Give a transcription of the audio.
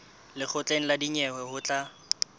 lekgotleng la dinyewe ho tla